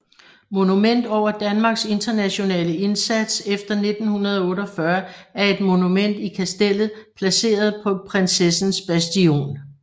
Monument over Danmarks Internationale Indsats efter 1948 er et monument i Kastellet placeret på Prinsessens Bastion